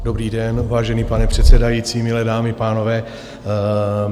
Dobrý den, vážený pane předsedající, milé dámy, pánové.